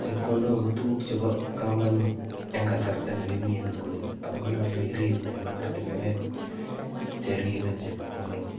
Chepkondok ko tuguk chebo komonut en kasarta ne kimii en nguni. Ako nyolu irip en ortunwek cheribe chepkondok